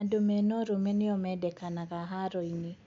Andũ mena ũrũme nĩo mendekanaga Haro-inĩ.